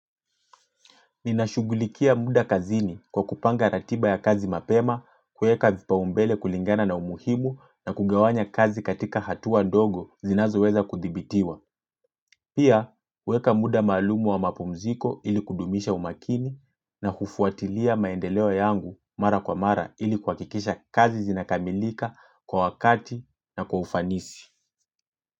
Ninashugulikia muda kazini kwa kupanga ratiba ya kazi mapema kuweka vipa umbele kulingana na umuhimu na kugawanya kazi katika hatua dogo zinazo weza kuthibitiwa. Pia, kuweka muda malumu wa mapumziko ili kudumisha umakini na kufuatilia maendeleo yangu mara kwa mara ili kuhakikisha kazi zinakamilika kwa wakati na kwa ufanisi.